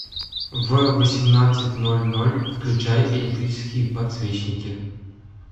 в восемнадцать ноль ноль включай электрические подсвечники